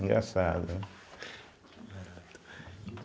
Engraçado, né.